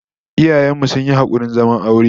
Iyayen mu sun yi hakurin zaman aure